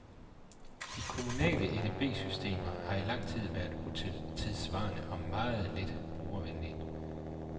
De kommunale edb-systemer har i lang tid været utidssvarende og meget lidt brugervenlige.